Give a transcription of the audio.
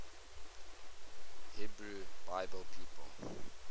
hebrew bible people